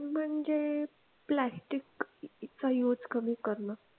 म्हणजे प्लास्टिक चा use कमी करण.